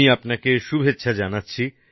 আমি আপনাকে শুভেচ্ছা জানাচ্ছি